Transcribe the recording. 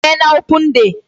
Unu emeela open day?